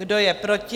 Kdo je proti?